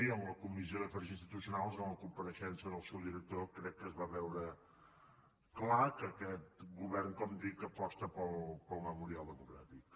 i en la comissió d’afers institucionals en la compareixença del seu director crec que es va veure clar que aquest govern com dic aposta pel memorial democràtic